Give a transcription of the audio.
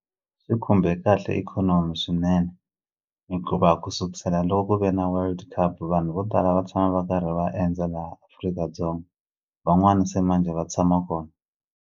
Swi khumbe kahle ikhonomi swinene hikuva ku sukusela lo ku ve na World Cup vanhu vo tala va tshama va karhi va endza laha Afrika-Dzonga van'wani se manjhe va tshama kona.